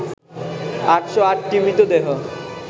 ৮০৮টি মৃতদেহ